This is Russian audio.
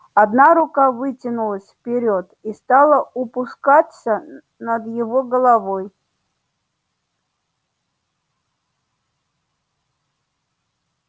одна рука вытянулась вперёд и стала упускаться над его головой